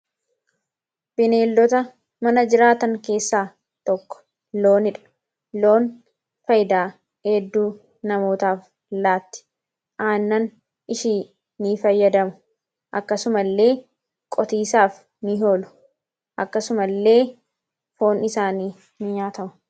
Bineeldota mana jiraatan keessaa tokko loonidha. Loon fayidaa hedduu namootaaf laatti. Aannan ishii ni fayyadamu, akkasuma illee qotisaaf ni oolu, akkasuma illee foon isaanii ni nyaatamu.